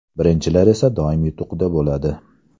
Birinchilar esa doim yutuqda bo‘ladi!